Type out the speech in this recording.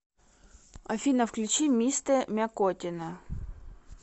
афина включи мистэ мякотина